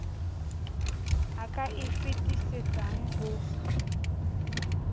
a ka e fetisetsang ho